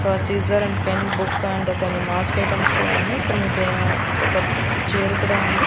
ఒక scissor and pen book and కొన్ని mask items కూడా ఉన్నయి కొన్ని బే ఒక చైరు కూడా ఉంది.